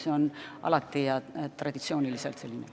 See on alati nii olnud.